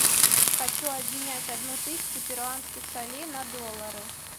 хочу обменять одну тысячу перуанских солей на доллары